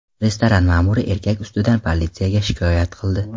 Restoran ma’muri erkak ustidan politsiyaga shikoyat qildi.